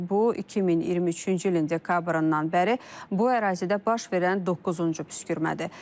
Bu 2023-cü ilin dekabrından bəri bu ərazidə baş verən doqquzuncu püskürmədir.